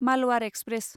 Malabar express